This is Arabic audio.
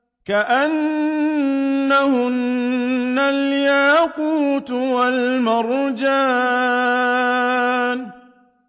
كَأَنَّهُنَّ الْيَاقُوتُ وَالْمَرْجَانُ